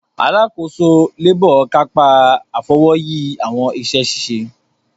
Alàkóso labour kapa Afọwọyi awọn iṣẹ-ṣiṣe.